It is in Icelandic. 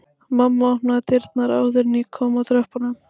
Mamma opnaði dyrnar áður en ég kom að tröppunum